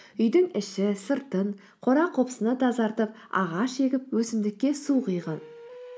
үйдің іші сыртын қора қопсыны тазартып ағаш егіп өсімдікке су құйған